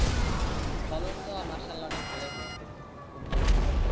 ফলন তো মাশা-আল্লাহ অনেক ভালো হইছে খুব ভাল ফলন